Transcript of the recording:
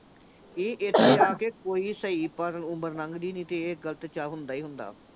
ਇਹ ਕੋਈ ਸਹੀ ਪਰ ਉਮਰ ਲੰਘਦੀ ਨੀਂ ਤੇ ਇਹ ਗਲਤ ਹੁੰਦਾ ਹੀ ਹੁੰਦਾ।